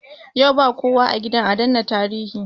Yau ba kowa a gidan adana tarihi